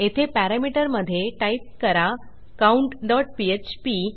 येथे पॅरामीटर मधे टाईप करा countपीएचपी